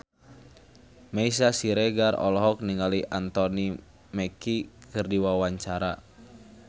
Meisya Siregar olohok ningali Anthony Mackie keur diwawancara